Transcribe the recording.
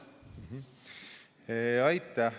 Aitäh!